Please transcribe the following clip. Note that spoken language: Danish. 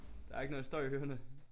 Der er ikke noget støj i ørerne